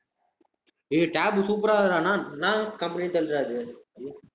டேய், tab super ஆ இருக்குடா ஆனா என்ன company ன்னு தெரிலடா இது